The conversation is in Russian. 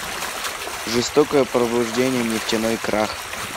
жестокое пробуждение нефтяной крах